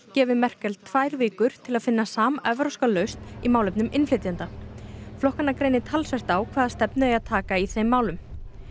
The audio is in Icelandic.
gefið Merkel tvær vikur til að finna samevrópska lausn í málefnum innflytjenda flokkana greinir talsvert á hvaða stefnu eigi að taka í þeim málum